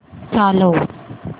चालव